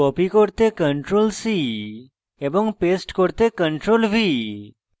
paste করতে ctrl + v